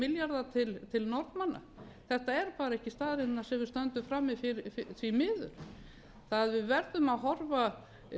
milljarða til norðmanna þetta eru bara ekki staðreyndirnar sem við stöndum frammi fyrir því miður við verðum að horfa